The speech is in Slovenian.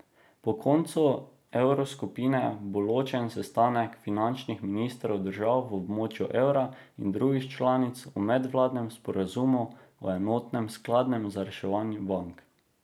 Po koncu evroskupine bo ločen sestanek finančnih ministrov držav v območju evra in drugih članic o medvladnem sporazumu o enotnem skladu za reševanje bank.